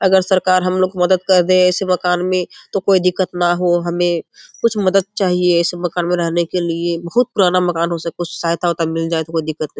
अगर सरकार हमको मदद कर दे ऐसे मकान में तो कोय दिक्कत न हो हमें कुछ मदद चाहिये ऐसे मकान में रहने के लिए बहुत पुराना मकान हो उससे कुछ सहायता-उहता मिल जाये तो कोय दिक्कत नहीं।